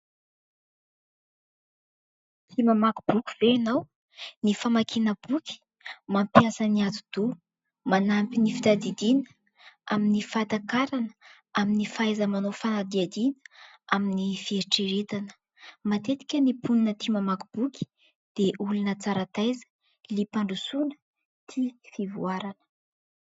Tia mamaky boky ve ianao ? Ny famakiana boky mampiasa ny ati-doha, manampy ny fitadidiana, amin'ny fahatakarana, amin'ny fahaiza-manao fanadihadiana, amin'ny fieritreretana. Matetika ny mponina tia mamaky boky dia olona tsara taiza, liam-pandrosoana, tia fivoarana.